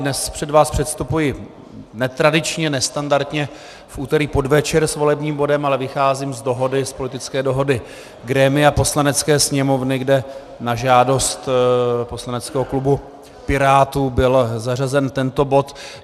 Dnes před vás předstupuji netradičně, nestandardně v úterý v podvečer s volebním bodem, ale vycházím z politické dohody grémia Poslanecké sněmovny, kde na žádost poslaneckého klubu Pirátů byl zařazen tento bod.